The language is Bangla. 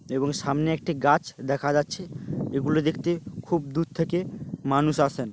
এবং সামনে একটি গাছ দেখা যাচ্ছে। এগুলো দেখতে খুব দূর থেকে মানুষ আসেন।